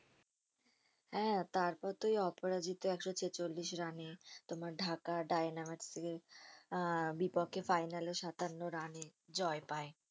হ্যাঁ তারপর তো ওই অপরাজিতা একশো ছেচল্লিশ রানে তোমার ঢাকা আহ বিপক্ষে final এ সাতান্ন রানে জয় পায়